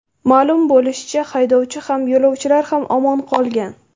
Ma’lum bo‘lishicha , haydovchi ham, yo‘lovchilar ham omon qolgan.